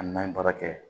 Hali n'an ye baara kɛ